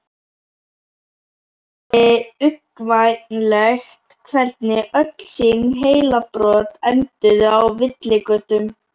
Honum þótti uggvænlegt hvernig öll sín heilabrot enduðu á villigötum.